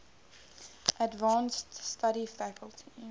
advanced study faculty